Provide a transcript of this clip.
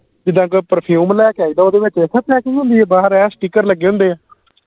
ਜਿੰਦਾ ਕੋਈ perfume ਲੈ ਕੇ ਆਈਦਾ ਓਹਦੇ ਵਿਚ packing ਹੁੰਦੀ ਬਾਹਰ ਐ sticker ਲਗੇ ਹੁੰਦੇ